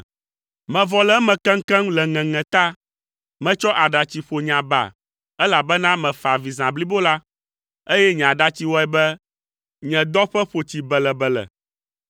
Mevɔ le eme keŋkeŋ le ŋeŋe ta; metsɔ aɖatsi ƒo nye aba, elabena mefa avi zã blibo la, eye nye aɖatsi wɔe be nye dɔƒe ƒo tsi belebele.